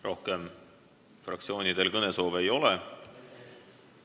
Rohkem fraktsioonidel kõnesoove ei ole.